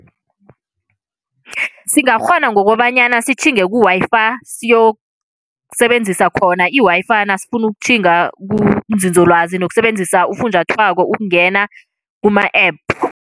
Singakghona ngokobanyana sitjhinge ku-Wi-Fi siyokusebenzisa khona i-Wi-Fi nasifuna ukutjhinga kunzinzolwazi nokusebenzisa ufunjathwako ukungena kuma-app.